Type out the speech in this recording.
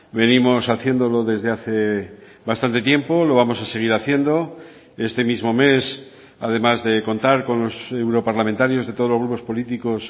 venimos haciéndolo desde hace bastante tiempo lo vamos a seguir haciendo este mismo mes además de contar con los europarlamentarios de todos los grupos políticos